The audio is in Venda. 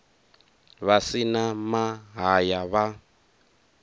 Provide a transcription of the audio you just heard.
vha si na mahaya vha